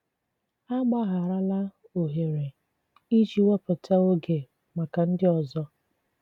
Àgbàghàràlà òhèrè ịjì wépụ̀tà ògè maka ndị ọzọ